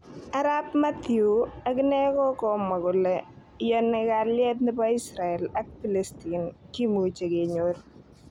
Arap Mathew akine kokamwa kora kole iyoni kalyet nebo Israel ak pilistine kimuche kenyor.